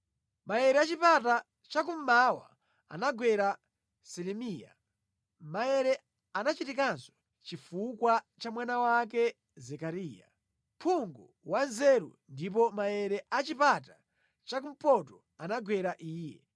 Maere a chipata chakummwa anagwera Selemiya. Maere anachitikanso chifukwa cha mwana wake Zekariya, phungu wanzeru ndipo maere a chipata chakumpoto anagwera iye.